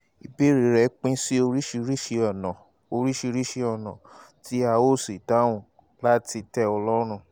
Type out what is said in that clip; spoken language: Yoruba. ìbéèrè rẹ pín sí oríṣiríṣi ọ̀nà oríṣiríṣi ọ̀nà tí a ó sì dáhùn láti tẹ́ ọ lọ́rùn